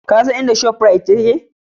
Ka san inda Shop Rite take?